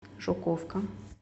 жуковка